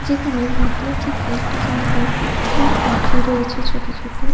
যেখানে ভেতর দিকে একটি জায়গায় প্রচু-উর পাখি রয়েছে ছোট ছোট--